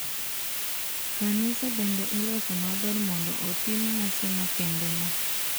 Kanisa bende iloso maber mondo otim nyasi makendeno.